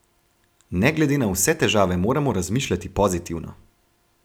Ne glede na vse težave moramo razmišljati pozitivno.